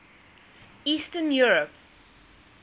eastern europe